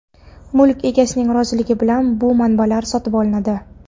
Mulk egasining roziligi bilan bu manbalar sotib olinadi.